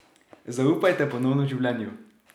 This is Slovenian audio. Zaupajte ponovno življenju.